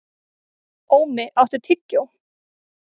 Ómi, áttu tyggjó?